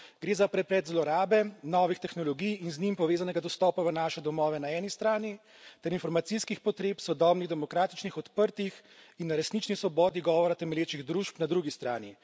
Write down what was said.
Gre za preplet zlorabe novih tehnologij in z njimi povezanega dostopa v naše domove na eni strani ter informacijskih potreb, sodobnih, demokratičnih, odprtih in na resnični svobodi govora temelječih družb na drugi strani.